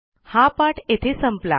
हा पाठ येथे संपला